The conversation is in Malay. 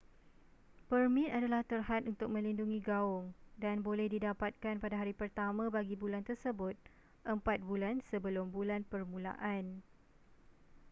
permit adalah terhad untuk melindungi gaung dan boleh didapatkan pada hari pertama bagi bulan tersebut empat bulan sebelum bulan permulaan